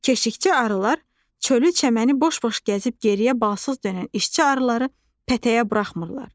Keşiyçi arılar çölü-çəməni boş-boş gəzib geriyə balsız dönən işçi arıları pətəyə buraxmırlar.